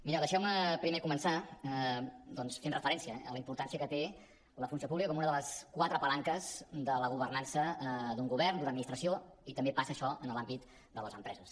mireu deixeu me primer començar doncs fent referència a la importància que té la funció pública com una de les quatre palanques de la governança d’un govern d’una administració i també passa això en l’àmbit de les empreses